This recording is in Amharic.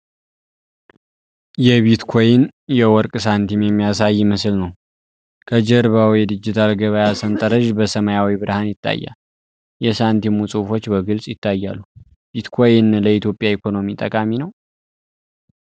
የቢትኮይን የወርቅ ሳንቲም የሚያሳይ ምስል ነው። ከጀርባው የዲጂታል ገበያ ሰንጠረዥ በሰማያዊ ብርሃን ይታያል። የሳንቲሙ ጽሑፎች በግልፅ ይታያሉ። ቢትኮይን ለኢትዮጵያ ኢኮኖሚ ጠቃሚ ነው?